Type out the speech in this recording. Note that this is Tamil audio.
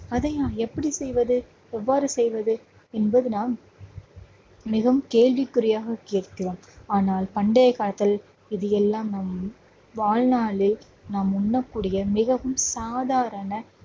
அதை நான் எப்படி செய்வது எவ்வாறு செய்வது என்பது நாம் மிகவும் கேள்விக் குறியாக கேட்கிறோம். ஆனால் பண்டைய காலத்தில் இது எல்லாம் நம் வாழ்நாளில் நாம் உண்ணக்கூடிய மிகவும் சாதாரண